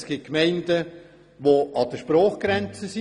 Es gibt Gemeinden, die an der Sprachgrenze liegen.